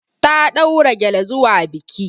Ta ɗaura gyale zuwa bikin.